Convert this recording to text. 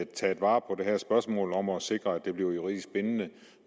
taget vare på det her spørgsmål om at sikre at det bliver juridisk bindende